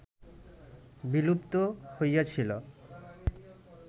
বিলুপ্ত হইয়াছিল